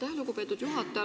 Aitäh, lugupeetud juhataja!